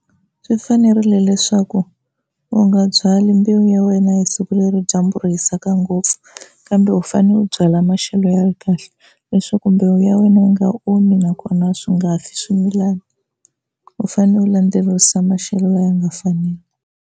Swi fanerile leswaku u nga byali mbewu ya wena hi siku leri dyambu ri hisaka ngopfu, kambe u fanele u byala maxelo ya kahle leswaku mbewu ya wena yi nga omi nakona swi nga fi swimilani u fanele u landzelerisa maxelo lawa ya nga faniki.